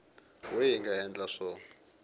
we hi nga endla swo